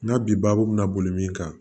N'a bi baabu bɛna boli min kan